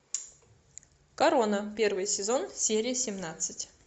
корона первый сезон серия семнадцать